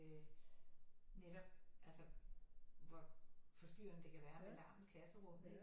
Netop altså hvor forstyrrende det kan være med larm i klasserummet ikke